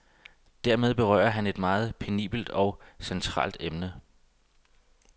Dermed berører han et meget penibelt og meget centralt emne.